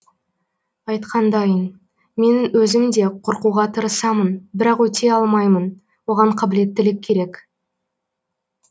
айтқандайын менің өзім де қорқуға тырысамын бірақ өте алмаймын оған қабілеттілік керек